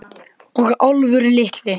Og Álfur litli.